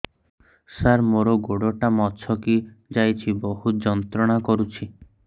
ସାର ମୋର ଗୋଡ ଟା ମଛକି ଯାଇଛି ବହୁତ ଯନ୍ତ୍ରଣା କରୁଛି